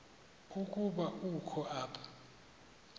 ukuba ukho apha